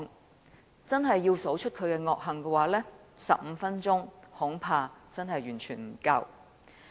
如果真的要數算他的惡行，恐怕15分鐘真的完全不足夠。